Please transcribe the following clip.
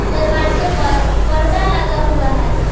दरवाजे पर पर्दा लगा हुआ है।